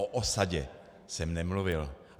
O osadě jsem nemluvil.